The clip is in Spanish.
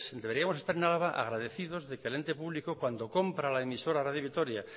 deberíamos de estar en álava agradecidos de que el ente público cuando compra la emisora radio vitoria